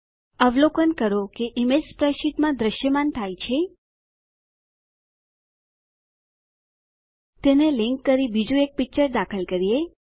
અવલોકન કરો કે ઈમેજ સ્પ્રેડશીટમાં દ્રશ્યમાન થાય છે તેને લીંક કરી બીજું એક પિક્ચર દાખલ કરીએ